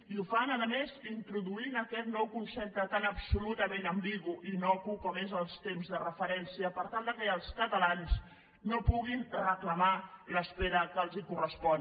i ho fan a més introduint aquest nou concepte tan absolutament ambigu i innocu com és el temps de referència per tal que els catalans no puguin reclamar l’espera que els correspon